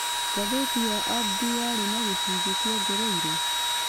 Ngathĩti ya abdi yarĩ na gĩcunjĩ kĩongereirũo